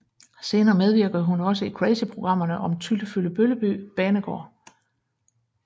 Senere medvirkede hun også i crazyprogrammerne om Tyllefyllebølleby banegård